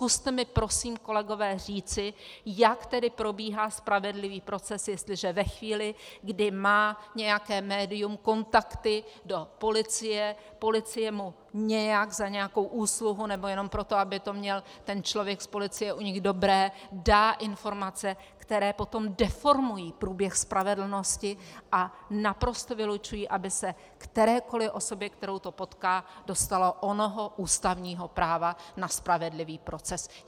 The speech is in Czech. Zkuste mi prosím, kolegové, říci, jak tedy probíhá spravedlivý proces, jestliže ve chvíli, kdy má nějaké médium kontakty do policie, policie mu nějak za nějakou úsluhu nebo jenom proto, aby to měl ten člověk z policie u nich dobré, dá informace, které potom deformují průběh spravedlnosti a naprosto vylučují, aby se kterékoli osobě, kterou to potká, dostalo onoho ústavního práva na spravedlivý proces.